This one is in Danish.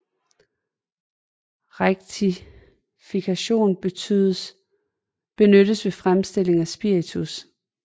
Rektifikation benyttes ved fremstilling af spiritus